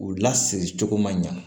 U lasiri cogo man ɲa